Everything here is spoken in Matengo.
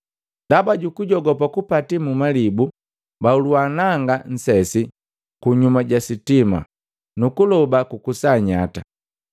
Ndaba jukujogopa kupati mmalibu, bahulua nanga nsesi kunyuma jisitima, nukuloba kukusa nyata.